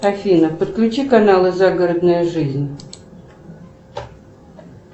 афина подключи каналы загородная жизнь